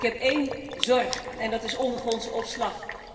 Ik heb één zorg en dat is ondergrondse opslag.